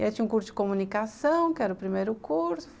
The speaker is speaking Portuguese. E aí tinha um curso de comunicação, que era o primeiro curso.